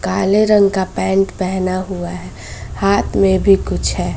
काले रंग का पेंट पहेना हुआ है हाथ में भी कुछ है।